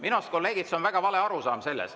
Minu arust, kolleegid, on see väga vale arusaam.